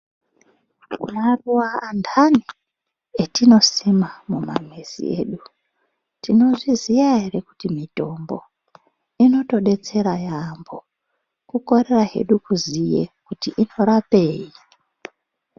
Maruva andani atinosima mumamizi edu tinozviziya ere kuti mitombo. Inotobetsera yaambo kukorera hedu kuziya kuti inorapei.